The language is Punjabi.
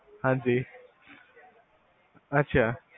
ਹਾਂਜੀ ਅਛਾ